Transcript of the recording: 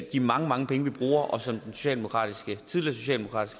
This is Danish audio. de mange mange penge vi bruger og som den tidligere socialdemokratiske